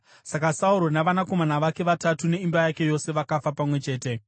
Saka Sauro navanakomana vake vatatu neimba yake yose vakafa pamwe chete.